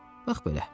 Bax belə.